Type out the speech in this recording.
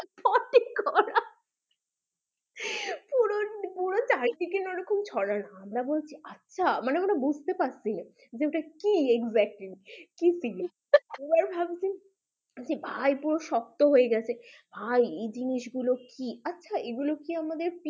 পুরো চারিদিকে না ওরকম ছড়ানো আমরা বলছি আচ্ছা! মানে আমরা বুঝতে পারছি না যে ওটা কি exactly কি জিনিস একবার ভাবছি ভাই পুরো শক্ত হয়ে গেছে ভাই এই জিনিস গুলো কি আচ্ছা এগুলো কি আমাদের